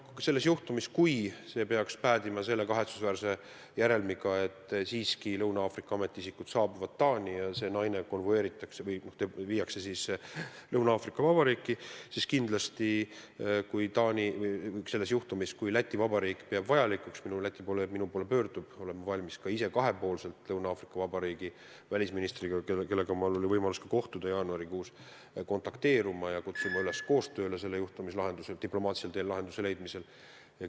Kui see juhtum peaks päädima kahetsusväärse järelmiga, et siiski Lõuna-Aafrika Vabariigi ametiisikud saabuvad Taani ja see naine konvoeeritakse või viiakse Lõuna-Aafrika Vabariiki, siis kindlasti, kui Läti Vabariik peab vajalikuks ja kui Läti kolleeg minu poole pöördub, siis olen ma valmis Lõuna-Aafrika Vabariigi välisministriga, kellega mul oli võimalus jaanuarikuus kohtuda, otse kontakteeruma ja kutsuma teda üles koostööle, et see juhtum diplomaatilisel teel lahendada.